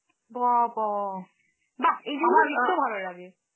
বাবা! বাহঃ! এই জিনিস গুলো দেখতে ভালো লাগে.